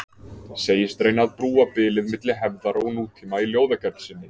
Segist reyna að brúa bilið milli hefðar og nútíma í ljóðagerð sinni.